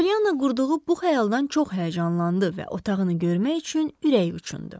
Polyanna qurduğu bu xəyaldan çox həyəcanlandı və otağını görmək üçün ürəyi uçundu.